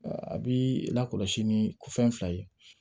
A bi lakɔlɔsi ni ko fɛn fila ye